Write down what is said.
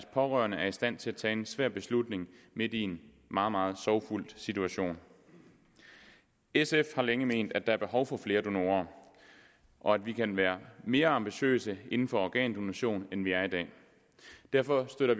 pårørende er i stand til at tage en svær beslutning midt i en meget meget sorgfuld situation sf har længe ment at der er behov for flere donorer og at vi kan være mere ambitiøse inden for organdonation end vi er i dag derfor støtter